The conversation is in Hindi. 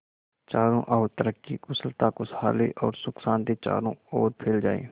चारों और तरक्की कुशलता खुशहाली और सुख शांति चारों ओर फैल जाए